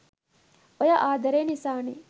ඔය ආදරේ නිසානෙ